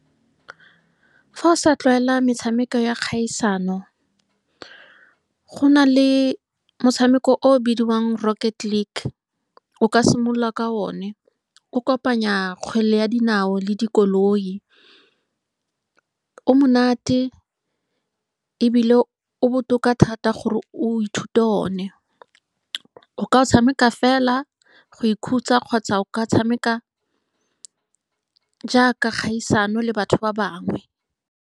Fa o sa tlwaela metshameko ya kgaisano, gona le motshameko o o bidiwang Rocket League. O ka simolola ka one, o kopanya kgwele ya dinao le dikoloi. O monate, ebile o botoka thata gore o ithute one, o ka o tshameka fela go ikhutsa, kgotsa o ka tshameka jaaka kgaisano le batho ba bangwe.